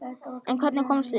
En hvernig komumst við?